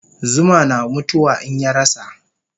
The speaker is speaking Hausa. Zuma na mutu wa in yarasa